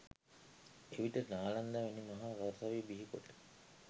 එවිට නාලන්දා වැනි මහා සරසවි බිහිකොට